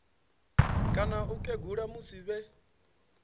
kana u kegula musi vhe